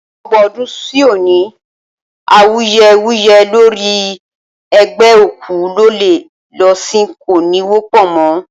Ọgbọ́n ọdún sí òní, awuyewuye lórí ẹ gbé òkú lọlé lọ sín kò ní wọ́pọ̀ mọ́.